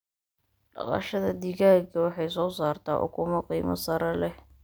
Dhaqashada digaaga waxay soo saartaa ukumo qiimo sare leh.